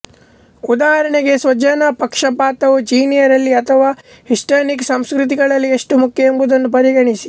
ಉದಾಹರಣೆಗೆ ಸ್ವಜನ ಪಕ್ಷಪಾತವು ಚೀನಿಯರಲ್ಲಿ ಅಥವಾ ಹಿಸ್ಪಾನಿಕ್ ಸಂಸ್ಕೃತಿಗಳಲ್ಲಿ ಎಷ್ಟು ಮುಖ್ಯ ಎಂಬುದನ್ನು ಪರಿಗಣಿಸಿ